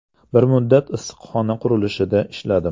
Bir muddat issiqxona qurilishida ishladim.